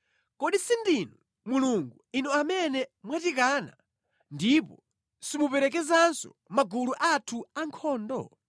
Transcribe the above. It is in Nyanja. Kodi sindinu Mulungu, Inu amene mwatikana ndipo simuperekezanso magulu athu ankhondo?